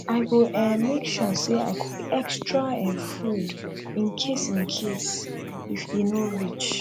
i go um make sure say i cook extra um food in case in case if e no reach